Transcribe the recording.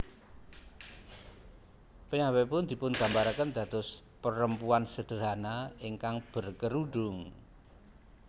Piyambakipun dipungambarakén dados perempuan sederhana ingkang berkerudung